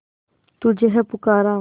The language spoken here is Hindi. तुझे है पुकारा